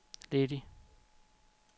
ledig